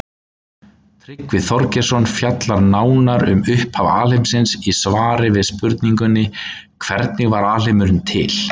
Tryggvi Þorgeirsson fjallar nánar um upphaf alheimsins í svari við spurningunni Hvernig varð alheimurinn til?